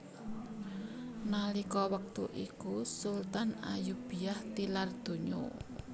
Nalika wektu iku Sultan Ayyubiyah tilar donya